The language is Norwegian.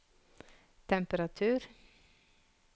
temperatur